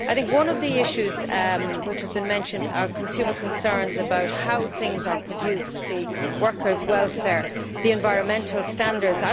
One of the issues which has been mentioned is consumer concerns about how things are produced, about workers' welfare and environmental standards.